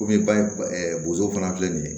Komi ba ɛ bozo fana filɛ nin ye